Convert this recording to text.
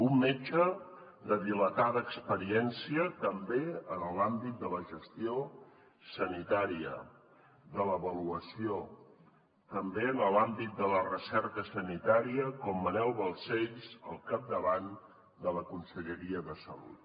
un metge de dilatada experiència també en l’àmbit de la gestió sanitària de l’avaluació també en l’àmbit de la recerca sanitària com manel balcells al capdavant de la conselleria de salut